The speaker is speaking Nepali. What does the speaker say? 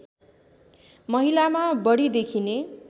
महिलामा बढी देखिने